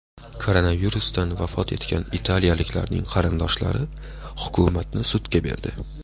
Koronavirusdan vafot etgan italiyaliklarning qarindoshlari hukumatni sudga berdi.